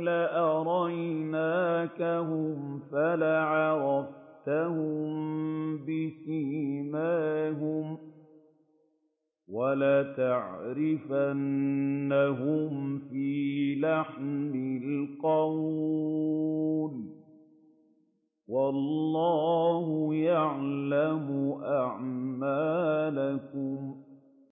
لَأَرَيْنَاكَهُمْ فَلَعَرَفْتَهُم بِسِيمَاهُمْ ۚ وَلَتَعْرِفَنَّهُمْ فِي لَحْنِ الْقَوْلِ ۚ وَاللَّهُ يَعْلَمُ أَعْمَالَكُمْ